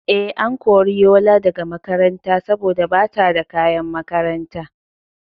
Eh, an kori Yola daga makaranta saboda bata da kayan makaranta